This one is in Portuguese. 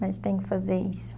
Mas tem que fazer isso.